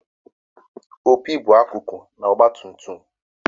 opi bụ akụkụ na ọgbatumtum